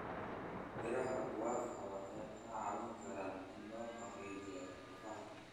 Miraha guava waxay ka caawin karaan in la xoojiyo lafaha.